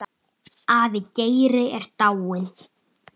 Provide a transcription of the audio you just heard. Afi Geiri er dáinn.